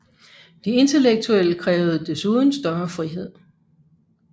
De intellektuelle krævede desuden større frihed